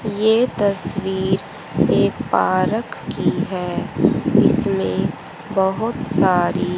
यह तस्वीर एक पार्क की है इसमें बहुत सारी--